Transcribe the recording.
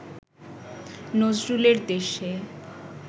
নজরুলের দেশে